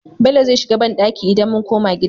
Bello zai shiga banɗaki idan mun koma gida